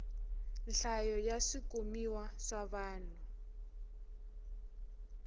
nhlayo ya swikumiwa swa vanhu